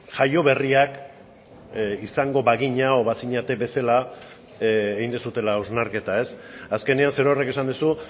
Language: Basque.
jaio berriak izango bagina eta bazinete bezala egin duzuela hausnarketa azkenean zerorrek esan duzu